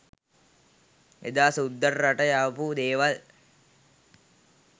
එදා සුද්දා රට යවපු දේවල්